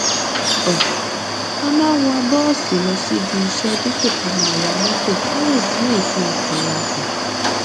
um a máa ń wọ bóòsì lọ sí ibi iṣé dípò ká wa mótò ká lè dín èéfín ọkò wa kù